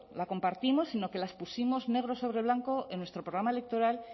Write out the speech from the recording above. la compartimos sino que las pusimos negro sobre blanco en nuestro programa electoral